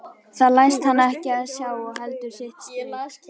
Það læst hann ekki sjá og heldur sitt strik.